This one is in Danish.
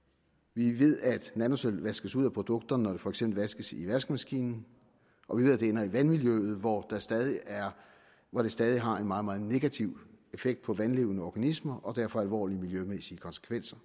vi ved at nanosølv vaskes ud af produkter når de for eksempel vaskes i vaskemaskinen og vi ved at det ender i vandmiljøet hvor hvor det stadig har en meget meget negativ effekt på vandlevende organismer og derfor har alvorlige miljømæssige konsekvenser